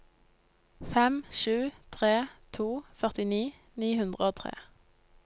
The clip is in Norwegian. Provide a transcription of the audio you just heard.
fem sju tre to førtini ni hundre og tre